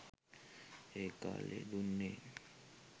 ඒ කාලයේ දුන්නේ